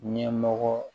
Ɲɛmɔgɔ